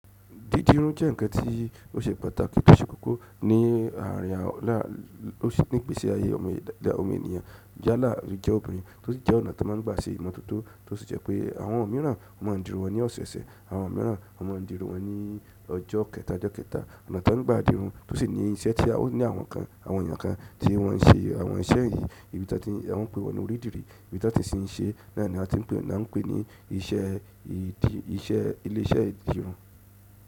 Dídì irun jẹ́ ǹkan tí ó ṣe pàtàkì tò ṣe kókó ní àrìn awà là ò ṣe nì igbèsì àyè ọmọ ẹdà ọmọ ènìyàn. Ìyálà ló jẹ́ obìnrin, tó sì jẹ́ ọ̀nà tí wọ́n máa ń gba sí ìmọ́tótó, tó sì jẹ́ pé àwọn mìíràn máa ń dirun wọn ní ọ̀sẹ̀ẹ̀sẹ̀, àwọn mìíràn máa ń dirun wọn ní ọjọ́ kẹta, ọjọ́ kẹta. Ọ̀nà tí wọ́n ń gba à dirun tó sì ní iṣẹ́ tí a ó ní àwọn kan, àwọn ènìyàn kan tí wọ́n ń ṣe àwọn iṣẹ́ yìí, ìbí tí a tí wọ́n ń pe wọ́n ní orí ìdìrí, ìbí tí a tí ń ṣe, náà ni a tí ń pe, náà ń pè ní iṣẹ́ ìdí, iṣẹ́ ilé iṣẹ́ ìdirun.